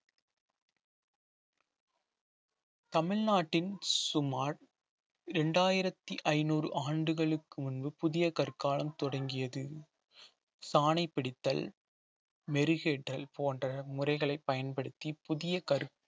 தமிழ்நாட்டின் சுமார் இரண்டாயிரத்தி ஐநூறு ஆண்டுகளுக்கு முன்பு புதிய கற்காலம் தொடங்கியது சாணை பிடித்தல் மெருகேற்றல் போன்ற முறைகளை பயன்படுத்தி புதிய கற்~